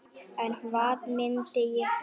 En hvað myndi ég gera?